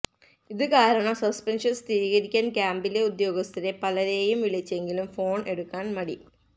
ഇതു കാരണം സസ്പെൻഷൻ സ്ഥിരീകരിക്കാൻ ക്യാമ്പിലെ ഉദ്യോഗസ്ഥരെ പലരെയും വിളിച്ചെങ്കിലും ഫോൺ എടുക്കാൻ മടി